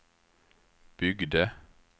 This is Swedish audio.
byggde